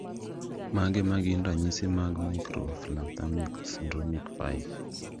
Mage magin ranyisi mag Microphthalmia syndromic 5